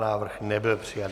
Návrh nebyl přijat.